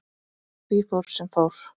Því fór sem fór.